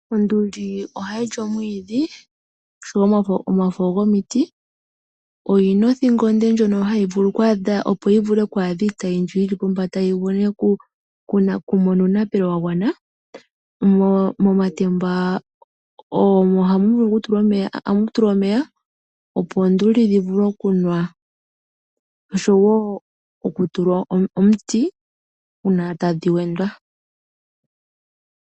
Onduli ohayi li omwiidhi, oshowo omafo gomiti. Oyina othingo onde ndjono hayi vulu oku adha iitayi mbi yili pombanda vule yi mone uunapelo wa gwana. Momatemba omo hamu tulwa omeya opo ooonduli dhi vule okunwa, osho wo omuti uuna tadhi wendwa.